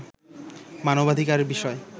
মানবাধিকার বিষয়ে